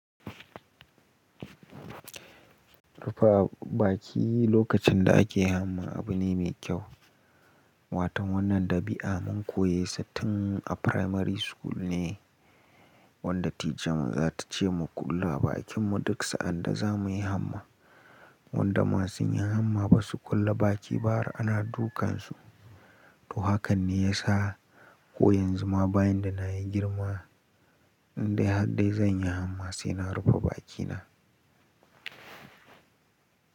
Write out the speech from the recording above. Rufe baki lokacin da ake hamma abu ne mai kyau. Watan wannan dabi'a mun koyesa tun a primary school ne, wanda ticanmu za ta ce mu kulle bakinmu duk sa'ad da za mu yi hamma. Wanda masu yin hamma ba su kulle baki har ana dukan su. To hakan ne ya sa ko yanzu ma bayan da na yi girma in dai har dai zan yi hamma sai na rufe bakina.